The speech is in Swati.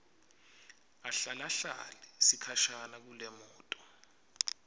ahlalahlale sikhashana kulemoto